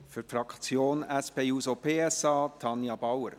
Für die Fraktion SP-JUSO-PSA: Tanja Bauer.